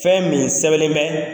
Fɛn min sɛbɛlen bɛ